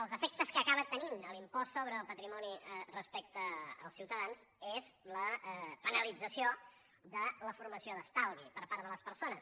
els efectes que acaba tenint l’impost sobre el patrimoni respecte als ciutadans és la penalització de la formació d’estalvi per part de les persones